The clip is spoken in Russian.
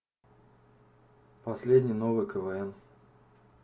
последний новый квн